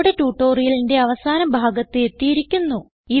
ഇതോടെ ട്യൂട്ടോറിയലിന്റെ അവസാന ഭാഗത്ത് എത്തിയിരിക്കുന്നു